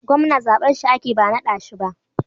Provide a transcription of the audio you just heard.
gwamna zabar shi ake ba nadashi ba